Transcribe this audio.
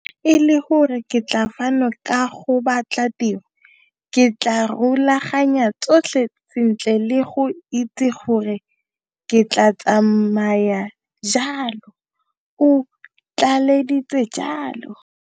Fa e le gore ke tla fano ka go batla tiro, ke tla rulaganya tsotlhe sentle le go itse gore ke tla tsamaya jang, o tlaleleditse jalo.